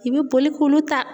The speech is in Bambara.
I bi boli k'olu ta.